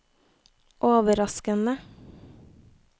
overraskende